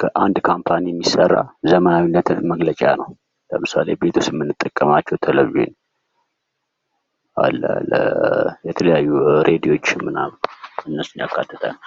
ከአንድ ካምፓኒ የሚሰራ ዘመናዊነትን መግለጫ ነው። ለምሳሌ፦ ቤት ውስጥ የምንጠቀማቸው ቴሌቪዥን አለ የተለያዩ ሬዲዮኖችን ምናምን እነሱን ያካተተ ነው።